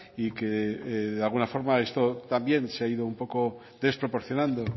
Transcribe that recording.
y que de alguna forma esto también se ha ido un poco desproporcionando